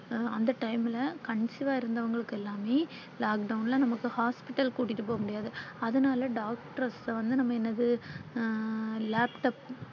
அந்த Time Conceive ஆ இருந்தவங்களுக்கு எல்லாமே lockdown நமக்கு Hospital க்கு கூட்டிட்டு போக முடியாது. அதனால Doctor ல கிட்ட வந்து நாம என்னது ஆஹ்